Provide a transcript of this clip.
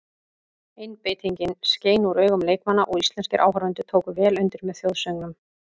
Einbeitingin skein úr augun leikmanna og íslenskir áhorfendur tóku vel undir með þjóðsöngnum.